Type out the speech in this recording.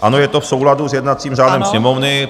Ano, je to v souladu s jednacím řádem Sněmovny.